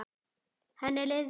Henni leið vel.